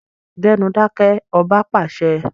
Gbẹ́nu dákẹ́! Ọba pàṣẹ.